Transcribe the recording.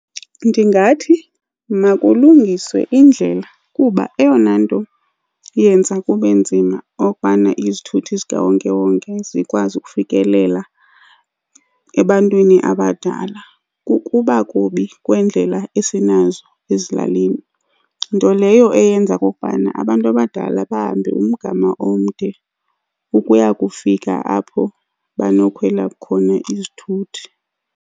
Ndingathi makulungiswe indlela kuba eyona nto iyenza kube nzima okubana izithuthi zikawonkewonke zikwazi ukufikelela ebantwini abadala kukuba kubi kweendlela esinazo ezilalini, nto leyo eyenza okokubana abantu abadala bahambe umgama omde ukuya kufika apho banokufumana khona izithuthi.